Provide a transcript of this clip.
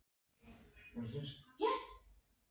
Jæja, hafðu mig afsakaðan, sagði Sveinn.